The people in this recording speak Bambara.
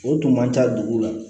O tun man ca dugu la